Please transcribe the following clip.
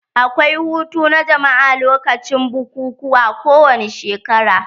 Akwai hutu na jama'a lokacin bukukuwa kowani shekara.